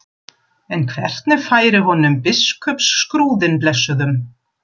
En hvernig færi honum biskupsskrúðinn blessuðum?